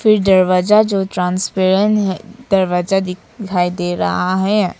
ये दरवाजा जो ट्रांसपेरेंट है दरवाजा दिखाई दे रहा है।